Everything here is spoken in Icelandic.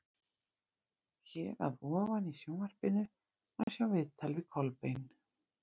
Hér að ofan í Sjónvarpinu má sjá viðtal við Kolbeinn.